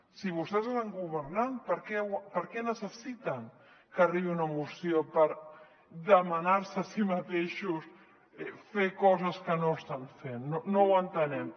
si vostès estan governant per què necessiten que arribi una mo·ció per demanar·se a si mateixos fer coses que no estan fent no ho entenem